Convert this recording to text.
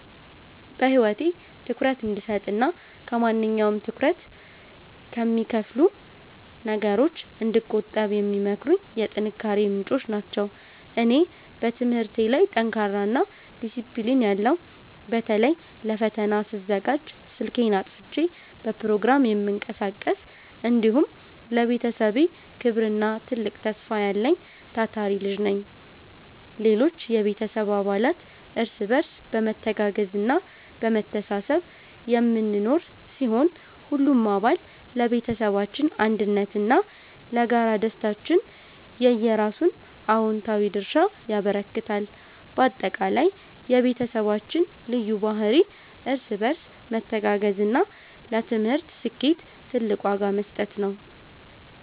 በህይወቴ ትኩረት እንድሰጥና ከማንኛውም ትኩረት ከሚከፋፍሉ ነገሮች እንድቆጠብ የሚመክሩኝ የጥንካሬዬ ምንጮች ናቸው። እኔ፦ በትምህርቴ ላይ ጠንካራና ዲሲፕሊን ያለው (በተለይ ለፈተና ስዘጋጅ ስልኬን አጥፍቼ በፕሮግራም የምቀሳቀስ)፣ እንዲሁም ለቤተሰቤ ክብርና ትልቅ ተስፋ ያለኝ ታታሪ ልጅ ነኝ። ሌሎች የቤተሰብ አባላት፦ እርስ በርስ በመተጋገዝና በመተሳሰብ የምንኖር ሲሆን፣ ሁሉም አባል ለቤተሰባችን አንድነትና ለጋራ ደስታችን የየራሱን አዎንታዊ ድርሻ ያበረክታል። ባጠቃላይ፣ የቤተሰባችን ልዩ ባህሪ እርስ በርስ መተጋገዝና ለትምህርት ስኬት ትልቅ ዋጋ መስጠት ነው።